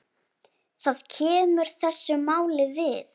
Það kemur þessu máli við.